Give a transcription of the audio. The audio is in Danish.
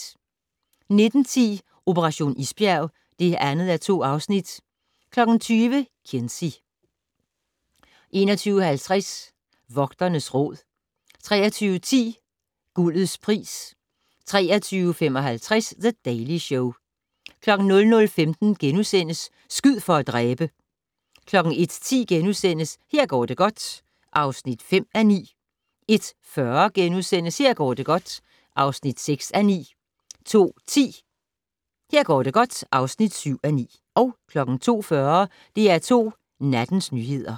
19:10: Operation isbjerg (2:2) 20:00: Kinsey 21:50: Vogternes Råd 23:10: Guldets pris 23:55: The Daily Show 00:15: Skyd for at dræbe! * 01:10: Her går det godt (5:9)* 01:40: Her går det godt (6:9)* 02:10: Her går det godt (7:9) 02:40: DR2 Nattens nyheder